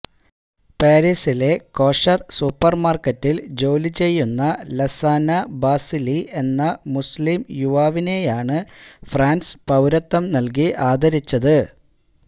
പാരീസിലെ കോഷര് സൂപ്പര്മാര്ക്കറ്റില് ജോലി ചെയ്യുന്ന ലാസാനാ ബാസിലി എന്ന മുസ്ലീം യുവാവിനെയാണ് ഫ്രാന്സ് പൌരത്വം നല്കി ആദരിച്ചത്